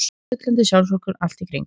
Sullandi sjálfsvorkunnin allt í kring.